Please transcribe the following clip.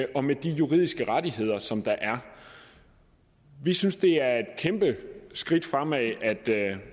og med de juridiske rettigheder som der er vi synes det er et kæmpe skridt fremad at